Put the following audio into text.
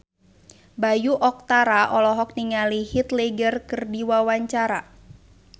Bayu Octara olohok ningali Heath Ledger keur diwawancara